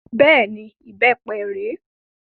Bẹ́ẹ̀ni, ìbépe rè é